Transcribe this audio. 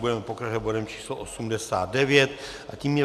Budeme pokračovat bodem číslo 89 a tím je